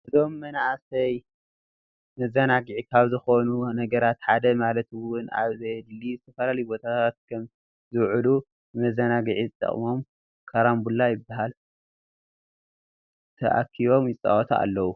እዞም ን መንኣሰይ መዘናግዒ ካብ ዝኮኑ ነገራት ሓደ ማለት እውን ኣብ ዘየድልዪ ዝተፈላለዩ ቦታታት ካብ ዝውዕሉ ንመዘናግዒ ዝጠቅሞም ካርንቡላ ይበሃል ታኪቦም ይጻወቱ ኣለዉ።